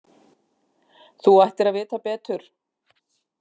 Þú ættir að vita betur!